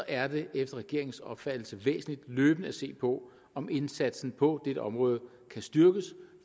er det efter regeringens opfattelse væsentligt løbende at se på om indsatsen på dette område kan styrkes